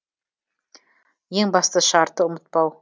ең басты шарты ұмытпау